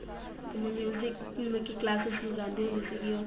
ਤੇ ਮੈਂ ਬਾਲਕੀ classes ਲਗਾਉਂਦੀ ਹੁੰਦੀ ਸੀਗੀ ਉਹ ਤੇ